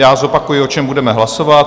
Já zopakuji, o čem budeme hlasovat.